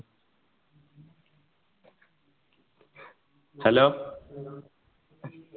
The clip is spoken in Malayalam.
hello